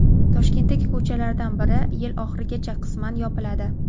Toshkentdagi ko‘chalardan biri yil oxirigacha qisman yopiladi.